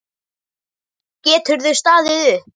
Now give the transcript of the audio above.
Geturðu staðið upp?